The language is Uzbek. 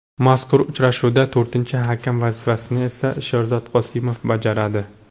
Mazkur uchrashuvda to‘rtinchi hakam vazifasini esa Sherzod Qosimov bajaradi.